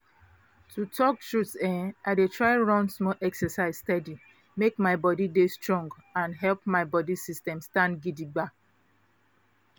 to talk truth[um]i dey try run small exercise steady make my body dey strong and help my body system stand gidigba